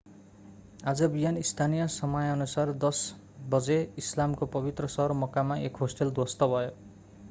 आज बिहान स्थानीय समयानुसार 10 बजे इस्लामको पवित्र सहर मक्कामा एक होस्टल ध्वस्त भयो